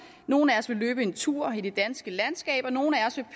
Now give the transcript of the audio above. nogle af os vil løbe en tur i det danske landskab og nogle af os vil